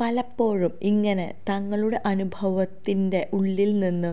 പലപ്പോഴും ഇങ്ങനെ തങ്ങളുടെ അനുഭവത്തിന്റെ ഉള്ളില് നിന്ന്